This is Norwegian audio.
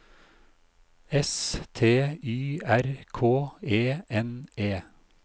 S T Y R K E N E